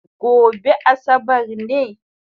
Gobe asabar ne?